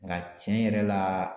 Nka tiɲɛ yɛrɛ la